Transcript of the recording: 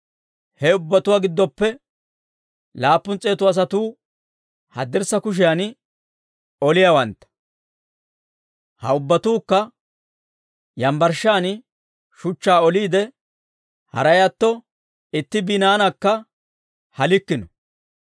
He ubbatuwaa giddoppe laappun s'eetu asatuu haddirssa kushiyan oliyaawantta; ha ubbatuukka yambbarshshaan shuchchaa oliide, haray atto itti binnaanakka halikkino.